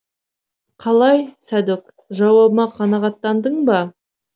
қалай сәдөк жауабыма қанағаттандың ба